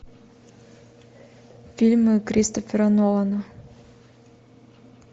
фильмы кристофера нолана